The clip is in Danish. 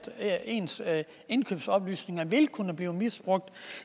ens indkøbsoplysninger ikke vil kunne blive misbrugt